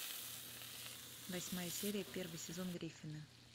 восьмая серия первый сезон гриффины